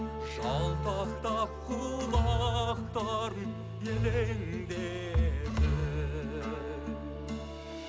жалтақтап құлақтарын елеңдетіп